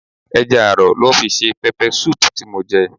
Ẹja aro lọ fi ṣe peppersoup tí mo jẹ.